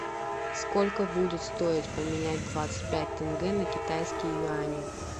сколько будет стоить поменять двадцать пять тенге на китайские юани